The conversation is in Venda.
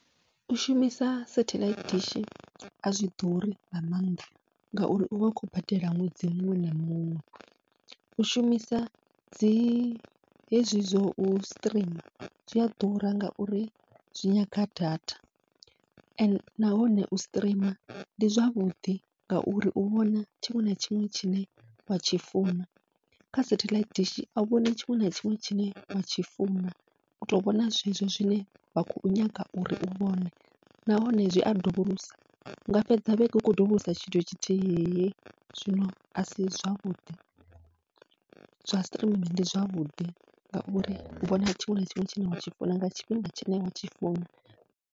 U shumisa setheḽaithi dishi azwi ḓuri nga maanḓa, ngauri uvha u khou badela ṅwedzi muṅwe na muṅwe u shumisa dzi hezwi zwau streamer zwia ḓura, ngauri zwi nyaga data ende nahone u streamer ndi zwavhuḓi ngauri u vhona tshiṅwe na tshiṅwe tshine watshi funa, kha setheḽaithi dishi au vhoni tshiṅwe na tshiṅwe tshine watshi funa uto vhona zwezwo zwine wa khou nyaga uri u vhone nahone zwi a dovholosa, unga fhedza vhege u khou dovholosa tshithu tshithihi. Zwino asi zwavhuḓi zwa streaming ndi zwavhuḓi ngauri u vhona tshiṅwe na tshiṅwe tshine watshi funa nga tshifhinga tshine watshi funa.